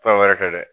Fɛn wɛrɛ kɛ dɛ